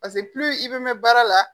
i bɛ mɛn baara la